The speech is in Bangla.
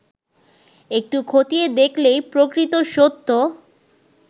একটু খতিয়ে দেখলেই প্রকৃত সত্য